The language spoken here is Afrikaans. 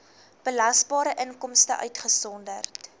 belasbare inkomste uitgesonderd